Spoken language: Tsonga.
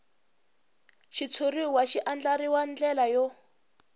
xitshuriwa xi andlariwil ndlela yo